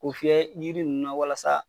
O fiyɛ yiri ninnu na walasa.